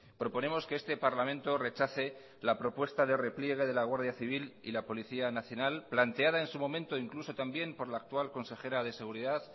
proponemos que este parlamento rechace la propuesta de repliegue de la guardia civil y la policía nacional planteada en su momento incluso también por la actual consejera de seguridad